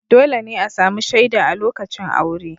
Dole ne a sami shaida a lokacin aure.